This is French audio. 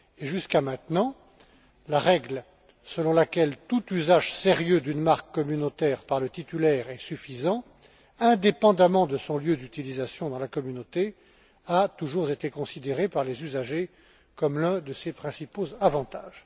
Jusqu'à maintenant, la règle selon laquelle tout usage sérieux d'une marque communautaire par le titulaire est suffisant, indépendamment de son lieu d'utilisation dans la Communauté, a toujours été considérée par les usagers comme l'un de ses principaux avantages.